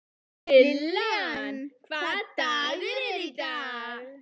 Lillian, hvaða dagur er í dag?